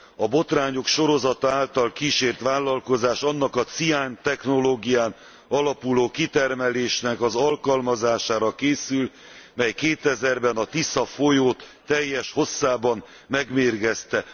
A botrányok sorozata által kísért vállalkozás annak a ciántechnológián alapuló kitermelésnek az alkalmazására készül, mely 2000 ben a Tisza folyót teljes hosszában megmérgezte.